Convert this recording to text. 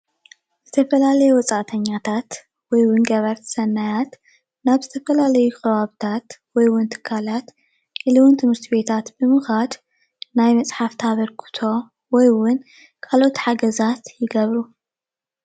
ዝተፈላለዩ ወፃእተኛታት ወይ እውን ገበርቲ ሰናያት ናብ ዝተፈላለዩ ከባቢታት ወይ እውን ትካላት ኢሉ እውን ትምህርቲ ቤታት ብምኳድ ናይ መፅሓፍ ኣበርክቶ ወይእውን ካልኦት ሓገዛት ይገብሩ፡፡